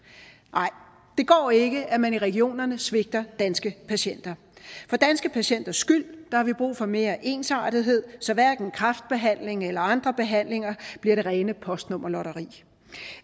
nej det går ikke at man i regionerne svigter danske patienter for danske patienters skyld har vi brug for mere ensartethed så hverken kræftbehandling eller andre behandlinger bliver det rene postnummerlotteri